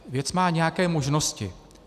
Věc má nějaké možnosti.